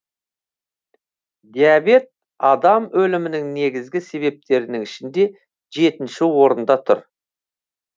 диабет адам өлімінің негізгі себептерінің ішінде жетінші орында тұр